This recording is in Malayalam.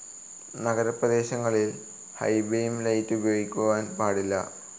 നഗരപ്രദേശങ്ങളിൽ ഹി ബീം ലൈറ്റ്‌ ഉപയോഗിക്കുവാൻ പാടില്ല.